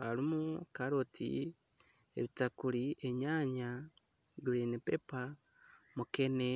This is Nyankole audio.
harimu karoti ebitakuri enyanya green pepper ,mukene